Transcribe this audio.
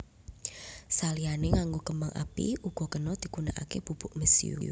Saliyané nganggo kembang api uga kena digunakaké bubuk mesiu